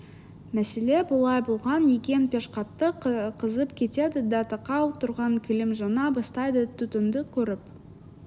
мәселе былай болған екен пеш қатты қызып кетеді де тақау тұрған кілем жана бастайды түтінді көріп